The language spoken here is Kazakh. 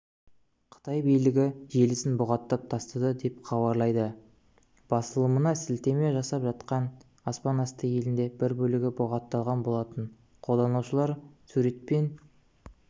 қытай билігі желісін бұғаттап тастады деп хабарлайды басылымына сілтеме жасап жақында аспан асты елінде бір бөлігі бұғатталған болатын қолданушылар сурет пен